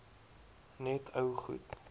net ou goed